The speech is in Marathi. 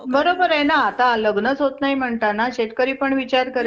बरोबर हाय ना आता लग्नचं होतचं नाही म्हणताना शेतकरी पण विचार करेल?